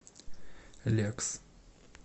лекс